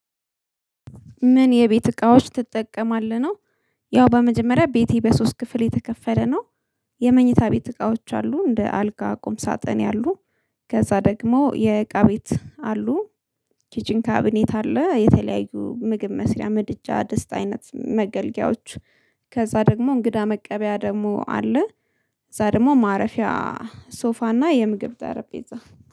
ምን የቤት እቃዎች ትጠቀማለህ ነው? ያው በመጀመሪያ ቤቴ በሶስት ክፍል የተከፈለ ነው። የመኝታ ቤት እቃዎች አሉ እንደ አልጋ ቁም ሳጥን ያሉ። ከዛ ደግሞ የእቃ ቤት አሉ። ኪችን ካቢኔት አለ የተለያዩ ምግብ መስሪያ ምድጃ ድስት አይነት መገልገያዎች። ከዛ ደግሞ እንግዳ መቀበያ ደግሞ አለ። እዛ ደግሞ ማረፊያ ሶፋና የምግብ ጠረጴዛ